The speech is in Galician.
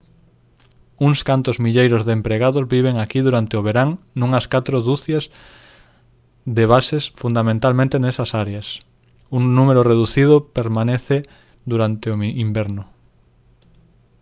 uns cantos milleiros de empregados viven aquí durante o verán nunhas catro ducias de bases fundamentalmente nesas áreas un número reducido permanece durante o inverno